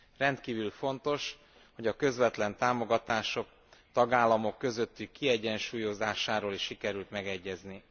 Rendkívül fontos, hogy a közvetlen támogatások tagállamok közötti kiegyensúlyozásáról is sikerült megegyezni.